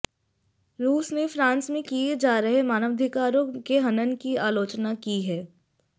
रूस ने फ़्रांस में किये जा रहे मानवाधिकारों के हनन की आलोचना की है